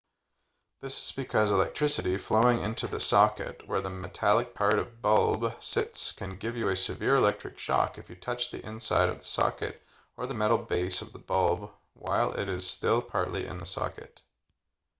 this is because electricity flowing into the socket where the metallic part of bulb sits can give you a severe electric shock if you touch the inside of the socket or the metal base of the bulb while it is still partly in the socket